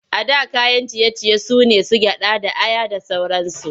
A da kayan ciye-ciye su ne su gyaɗa da aya da sauransu.